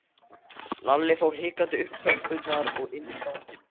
Lalli fór hikandi upp tröppurnar og inn í ganginn.